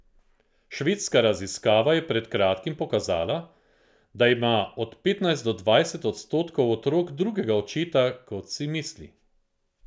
Švedska raziskava je pred kratkim pokazala, da ima od petnajst do dvajset odstotkov otrok drugega očeta, kot si misli.